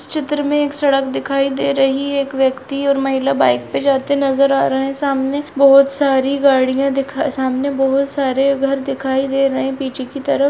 इस चित्र में एक सड़क दिखाई दे रही है एक व्यक्ति और महिला बाइक पर जाते नज़र आ रहे हैं सामने बहुत सारी गाड़िया दिखा सामने बहुत सारे घर दिखाई दे रहे हैं पीछे की तरफ --